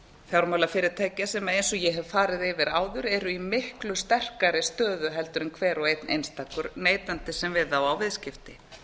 fjármálafyrirtækja sem eins og ég hef farið yfir áður eru í miklu sterkari stöðu en hver og einn einstakur neytandi sem við þá á viðskipti